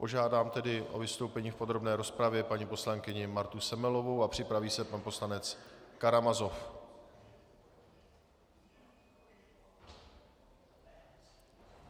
Požádám tedy o vystoupení v podrobné rozpravě paní poslankyni Martu Semelovou a připraví se pan poslanec Karamazov.